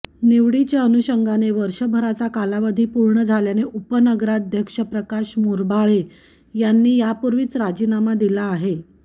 निवडीच्या अनुषंगाने वर्षभराचा कालावधी पूर्ण झाल्याने उपनगराध्यक्ष प्रकाश मोरबाळे यांनी यापूर्वीच राजीनामा दिला आहे